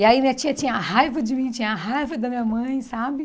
E aí minha tia tinha raiva de mim, tinha raiva da minha mãe, sabe?